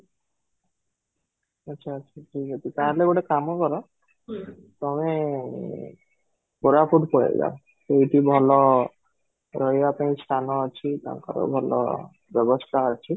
ଆଚ୍ଛା, ଆଚ୍ଛା ଠିକ ଅଛି ତାହେଲେ ଗୋଟେ କାମ କର overall ତମେ କୋରାପୁଟ ପଳେଇ ଯାଅ ସେଇଠି ଭଲ ରହିବା ପାଇଁ ସ୍ଥାନ ଅଛି ତାଙ୍କର ଭଲ ବ୍ୟବସ୍ଥା ଅଛି